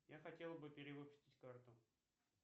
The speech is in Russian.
я хотел бы перевыпустить карту